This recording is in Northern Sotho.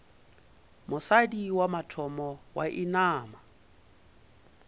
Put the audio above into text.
mosadi wa mathomo wa inama